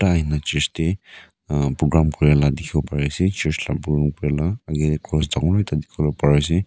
Aro ahina church tey uum programme kuri la dekhibo pari ase church la programme kuri la age tey cross dangor ekta dekhiwole pari ase.